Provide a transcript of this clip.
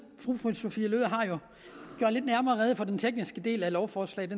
har jo gjort nærmere rede for den tekniske del af lovforslaget